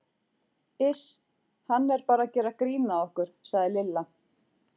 Iss hann er bara að gera grín að okkur sagði Lilla.